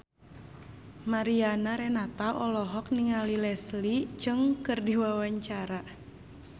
Mariana Renata olohok ningali Leslie Cheung keur diwawancara